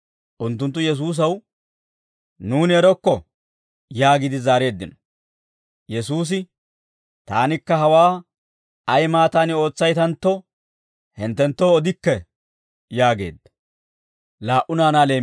Unttunttu Yesuusaw, «Nuuni erokko» yaagiide zaareeddino. Yesuusi, «Taanikka hawaa ay maattaani ootsaytantto, hinttenttoo odikke» yaageedda.